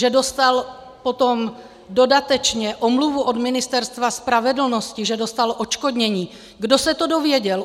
Že dostal potom dodatečně omluvu od Ministerstva spravedlnosti, že dostal odškodnění, kdo se to dozvěděl?